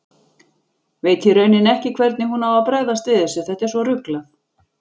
Veit í rauninni ekki hvernig hún á að bregðast við þessu, þetta er svo ruglað.